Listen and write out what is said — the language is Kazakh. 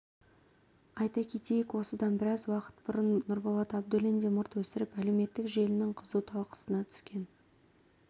айта кетейік осыдан біраз уақыт бұрын нұрболат абдуллин де мұрт өсіріп әлеуметтік желінің қызу талқысына түскен